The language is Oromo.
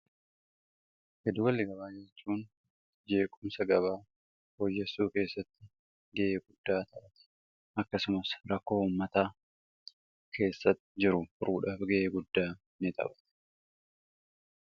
giddugalli gabaa yeroo jennu ogummaaa gabaa fooyyesuu keessatti ga'ee guddaa ta'a. akkasumas rakkoo ummataa keessatti jiru furuudhaaf ga'ee guddaa ni taphata.